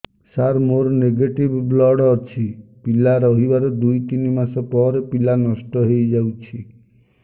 ସାର ମୋର negative blood ଅଛି ପିଲା ରହିବାର ଦୁଇ ତିନି ମାସ ପରେ ପିଲା ନଷ୍ଟ ହେଇ ଯାଉଛି